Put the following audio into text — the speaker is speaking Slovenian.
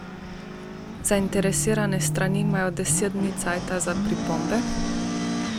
Zainteresirane strani imajo deset dni časa za pripombe.